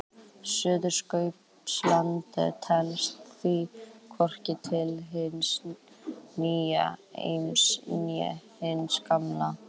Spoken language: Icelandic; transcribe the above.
Suðurskautslandið telst því hvorki til hins nýja heims né hins gamla.